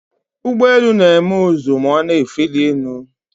Ụgbọ elu na-eme ụzụ ma ọ na-efeli elu.